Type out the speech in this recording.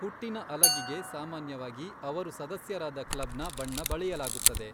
ಹುಟ್ಟಿನ ಅಲಗಿಗೆ ಸಾಮಾನ್ಯವಾಗಿ ಅವರು ಸದಸ್ಯರಾದ ಕ್ಲಬ್ನ ಬಣ್ಣ ಬಳಿಯಲಾಗುತ್ತದೆ.